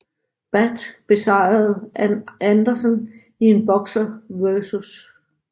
Badd besejrede Arn Anderson i en Boxer vs